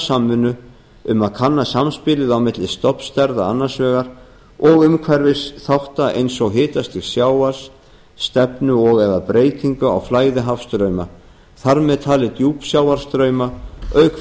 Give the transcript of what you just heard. samvinnu um að kanna samspilið á milli stofnstærða annars vegar og umhverfisþátta eins og hitastigs sjávar stefnu og eða breytingu a á flæði hafstrauma þar með talin djúpsjávarstrauma auk